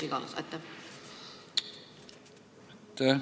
Aitäh!